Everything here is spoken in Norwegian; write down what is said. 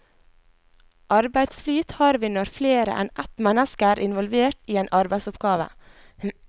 Arbeidsflyt har vi når flere enn ett menneske er involvert i en arbeidsoppgave.